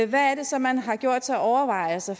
hvad er det så man har gjort sig overvejelser